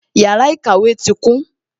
Yàrá ìkàwé tí kún